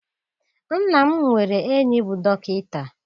Nna m nwere enyi bụ dọkịta.